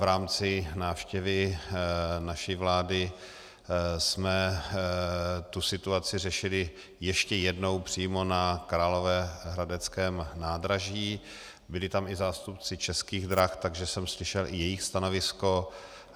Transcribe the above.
V rámci návštěvy naší vlády jsme tu situaci řešili ještě jednou přímo na královéhradeckém nádraží, byli tam i zástupci Českých drah, takže jsem slyšel i jejich stanovisko.